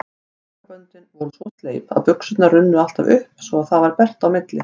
Sokkaböndin voru svo sleip að buxurnar runnu alltaf upp svo það varð bert á milli.